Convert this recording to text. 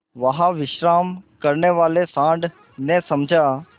वहाँ विश्राम करने वाले सॉँड़ ने समझा